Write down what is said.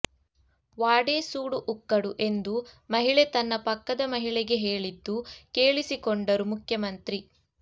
ವಾಡೇ ಸೂಡು ಉಕ್ಕಡು ಎಂದು ಮಹಿಳೆ ತನ್ನ ಪಕ್ಕದ ಮಹಿಳೆಗೆ ಹೇಳಿದ್ದು ಕೇಳಿಸಿಕೊಂಡರು ಮುಖ್ಯಮಂತ್ರಿ